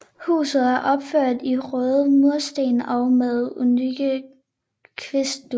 Huset er opført i røde mursten og med unikke kvistvinduer